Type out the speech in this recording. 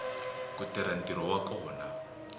ku tirha ntirho wa kona